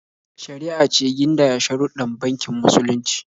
Shari'a ce gindaya sharuɗɗan bankin musulunci.